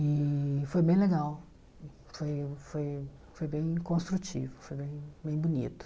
E foi bem legal, foi foi foi bem construtivo, foi bem bem bonito.